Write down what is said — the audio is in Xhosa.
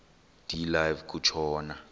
de live kutshona